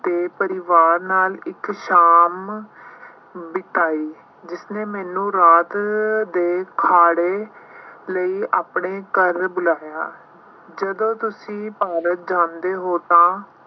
ਦੇ ਪਰਿਵਾਰ ਨਾਲ ਇੱਕ ਸ਼ਾਮ ਬਿਤਾਈ। ਜਿਸਨੇ ਮੈਨੂੰ ਰਾਤ ਦੇ ਖਾਣੇ ਲਈ ਆਪਣੇ ਘਰ ਬੁਲਾਇਆ। ਜਦੋਂ ਤੁਸੀਂ ਭਾਰਤ ਜਾਂਦੇ ਹੋ ਤਾਂ